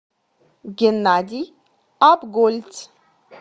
геннадий апгольц